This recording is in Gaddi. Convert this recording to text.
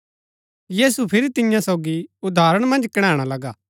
यीशु फिरी तियां सोगी उदाहरण मन्ज कणैणा लगा